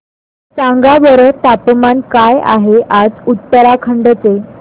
सांगा बरं तापमान काय आहे आज उत्तराखंड चे